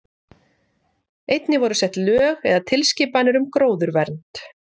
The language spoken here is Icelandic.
Einnig voru sett lög eða tilskipanir um gróðurvernd.